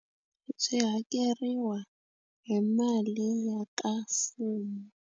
Byi hakeriwa hi mali ya ka mfumo.